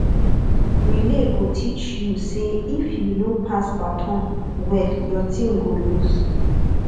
relay go teach you say if you no pass baton well your team go lose